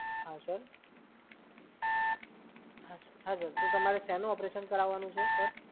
હા સર? તો તમારે શેનું ઓપરેશન કરાવવાનું છે?